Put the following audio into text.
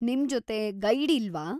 ನಿಮ್ಜೊತೆ guide ಇಲ್ವಾ?